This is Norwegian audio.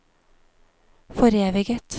foreviget